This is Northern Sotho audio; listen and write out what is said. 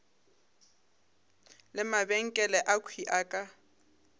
le mabenkele akhwi a ka